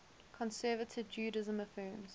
conservative judaism affirms